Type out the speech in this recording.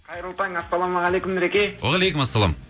қайырлы таң ассалаумағалейкум нұреке уағалейкумассалам